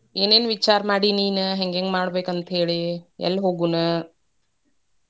ಏನೇನ ವಿಚಾರ ಮಾಡಿ ನೀನ್? ಹೆಂಗ್ಹೆಂಗ್ ಮಾಡ್ಬೇಕಂತ್ಹೇಳಿ? ಎಲ್ಲಿ ಹೋಗುಣ?